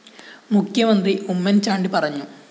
മുഖ്യമന്ത്രി ഉമ്മന്‍ ചാണ്ടി പറഞ്ഞു